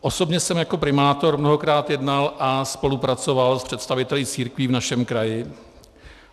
Osobně jsem jako primátor mnohokrát jednal a spolupracoval s představiteli církví v našem kraji.